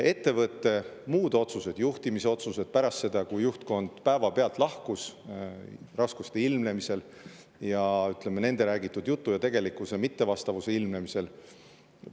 Ettevõtte muud otsused, juhtimisotsused pärast seda, kui juhtkond raskuste ilmnemisel, nende räägitud jutu ja tegelikkuse mittevastavuse ilmnemisel päevapealt lahkus …